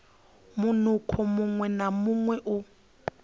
munukho muṅwe na muṅwe u